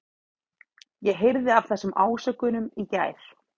Ég heyrði af þessum ásökunum í gær.